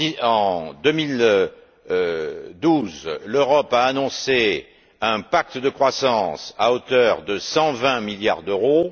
En 2012, l'Europe a annoncé un pacte de croissance à hauteur de 120milliards d'euros.